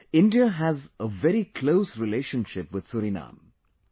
India has a very close relationship with 'Suriname'